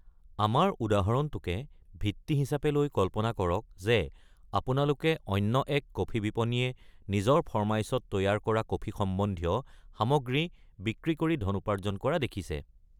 আমাৰ উদাহৰণটোকে ভিত্তি হিচাপে লৈ কল্পনা কৰক যে আপোনালোকে অন্য এক কফি বিপনীয়ে নিজৰ ফৰমাইচত তৈয়াৰ কৰা কফি সম্বন্ধীয় সামগ্ৰী বিক্ৰী কৰি ধন উপাৰ্জন কৰা দেখিছে।